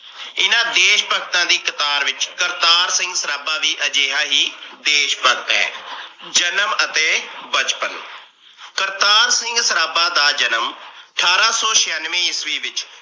ਐਨਾ ਦੇਸ਼ ਭਗਤਾਂ ਦੀ ਕਤਾਰ ਵਿਚ ਕਰਤਾਰ ਸਿੰਘ ਸਰਾਬਾ ਵੀ ਅਜਿਹਾ ਹੀ ਦੇਸ਼ ਭਗਤ ਹੈ। ਜਨਮ ਅਤੇ ਬਚਪਨ ਕਰਤਾਰ ਸਿੰਘ ਸਰਾਬਾ ਦਾ ਜਨਮ ਠਾਰਾਂ ਸੋ ਛਿਆਨਵੇਂ ਈਸਵੀ ਵਿਚ